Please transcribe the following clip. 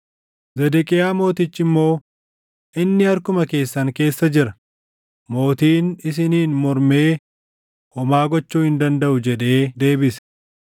Zedeqiyaa Mootichi immoo, “Inni harkuma keessan keessa jira; mootiin isiniin mormee homaa gochuu hin dandaʼu” jedhee deebise.